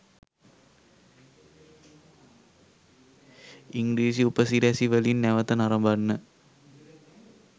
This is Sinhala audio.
ඉංග්‍රීසි උපසිරැසි වලින් නැවත නරඹන්න.